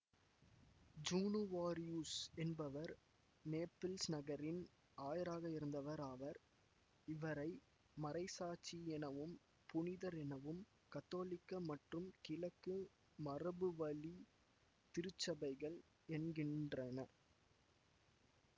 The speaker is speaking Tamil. ஜூனுவாரியுஸ் என்பவர் நேபில்ஸ் நகரின் ஆயராக இருந்தவர் ஆவார் இவரை மறைசாட்சி எனவும் புனிதர் எனவும் கத்தோலிக்க மற்றும் கிழக்கு மரபுவழி திருச்சபைகள் என்கின்றன